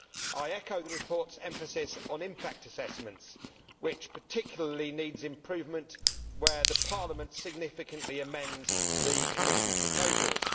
I echo the report's emphasis on impact assessments which particularly needs improvement where Parliament significantly amends the Commission proposals.